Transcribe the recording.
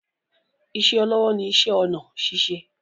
Ìṣe olówó ni iṣẹ́ ọnà ṣíṣe